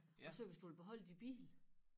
Og så hvis du vil beholde din bil